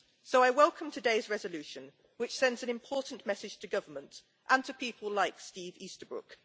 So I welcome today's resolution which sends an important message to government and to people like Steve Easterbrook.